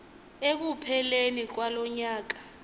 ekupheleni kwalo nyaka